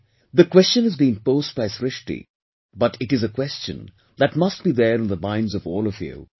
Well, the question has been posed by Srishti, but it is a question that must be there in the minds of all of you